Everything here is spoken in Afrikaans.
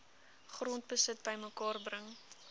grondbesit bymekaar bring